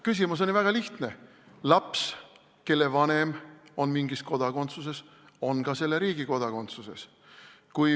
Küsimus oli väga lihtne: laps, kelle vanem on mingis kodakondsuses, on ka selle riigi kodakondsuses.